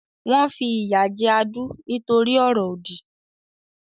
Wọ́n fi ìyà jẹ Adu nítorí ọ̀rọ̀ òdì.